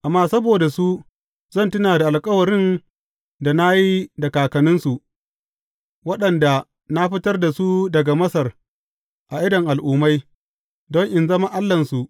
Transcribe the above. Amma saboda su, zan tuna da alkawarin da na yi da kakanninsu, waɗanda na fitar da su daga Masar a idon al’ummai, don in zama Allahnsu.